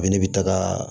A bɛ ne bɛ taga